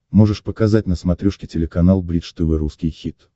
можешь показать на смотрешке телеканал бридж тв русский хит